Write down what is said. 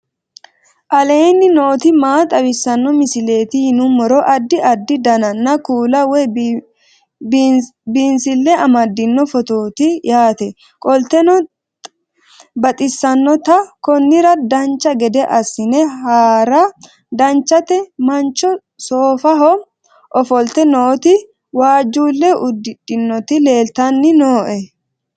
aleenni nooti maa xawisanno misileeti yinummoro addi addi dananna kuula woy biinsille amaddino footooti yaate qoltenno baxissannote konnira dancha gede assine haara danchate mancho soofaho ofolt nooti waajjuulle uddidhinoti leeltanni nooe